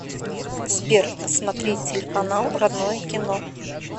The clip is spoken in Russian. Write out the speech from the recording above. сбер посмотреть телеканал родное кино